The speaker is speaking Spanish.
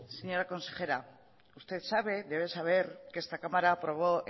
señora consejera usted sabe debe saber que esta cámara aprobó